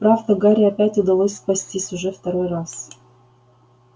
правда гарри опять удалось спастись уже второй раз